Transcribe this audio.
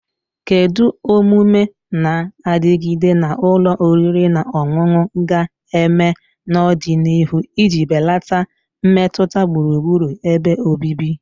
Kedu omume na-adigide na ụlọ oriri na ọṅụṅụ ga-eme n'ọdịnihu iji belata mmetụta gburugburu ebe obibi?